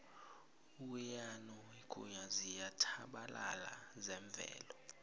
ukuyanokuya ziyatjhabalala zemvelo